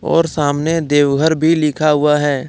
और सामने देवघर भी लिखा हुआ हैं।